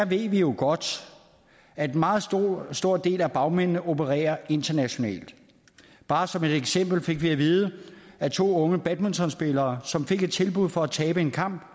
ved jo godt at en meget stor del af bagmændene desværre opererer internationalt bare som et eksempel fik vi at vide at to unge badmintonspillere som fik et tilbud for at tabe en kamp